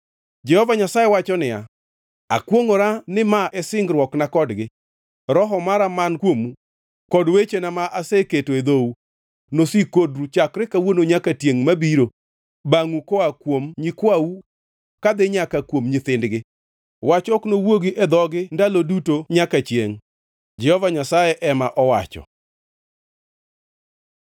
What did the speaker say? Jehova Nyasaye wacho niya, “Akwongʼora ni ma e singruokna kodgi. Roho mara man kuomu kod wechena ma aseketo e dhou nosik kodu chakre kawuono nyaka tiengʼ mabiro bangʼu koa kuom nyikwau kadhi nyaka kuom nyithindgi, wach ok nowuogi e dhog-gi ndalo duto nyaka chiengʼ,” Jehova Nyasaye ema owacho.